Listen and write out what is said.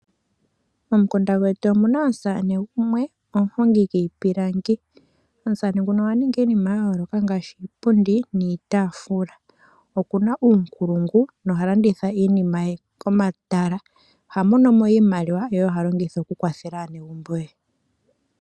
Momukunda gwetu omuna omusamane gumwe omuhungi gwiipilangi. Omusamane nguno oha ningi iinima ngaashi iipundi, niitaafula okuna uunkulungu, noha landitha iinima ye komatala. Oha mono mo iimaliwa yo oyo ha longitha oku kwathela aanegumbo ye.